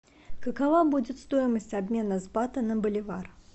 какова будет стоимость обмена с бата на боливар